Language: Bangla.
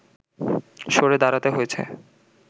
সরে দাঁড়াতে হয়েছে